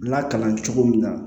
Lakalan cogo min na